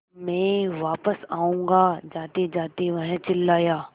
मैं वापस आऊँगा जातेजाते वह चिल्लाया